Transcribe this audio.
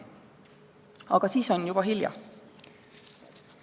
Aga siis on juba hilja.